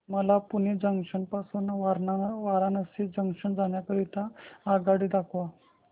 मला पुणे जंक्शन पासून वाराणसी जंक्शन जाण्या करीता आगगाडी दाखवा